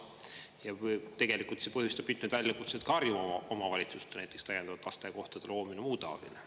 Ja tegelikult see põhjustab mitmeid väljakutseid ka Harjumaa omavalitsuste, näiteks täiendavate lasteaiakohtade loomine ja muu taoline.